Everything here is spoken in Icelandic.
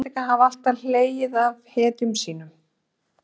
Íslendingar hafa alltaf hlegið að hetjum sínum.